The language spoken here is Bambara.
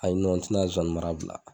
A yi n ti na zonsannimara bila.